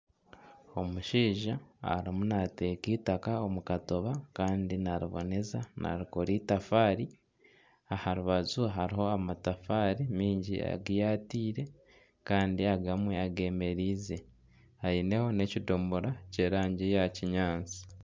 Omushaija arimu nateeka itaka omu katiba kandi nariboneza narikora itafaari. Aharubaju hariho amatafaari mingi giyatiire kandi agamwe agemereize. Aineho n'ekidomora ky'erangi ya kinyaatsi.